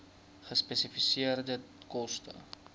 gespesifiseerde koste